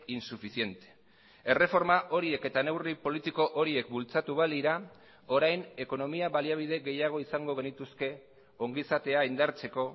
insuficiente erreforma horiek eta neurri politiko horiek bultzatu balira orain ekonomia baliabide gehiago izango genituzke ongizatea indartzeko